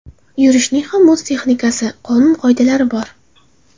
Yurishning ham o‘z texnikasi, qonun-qoidalari bor.